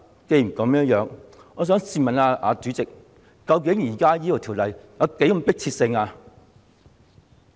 既然如此，我想問主席，究竟這項《條例草案》有何迫切性？